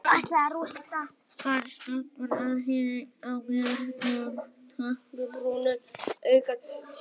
Hann stoppar og horfir á mig með dökkbrúnu augunum sínum.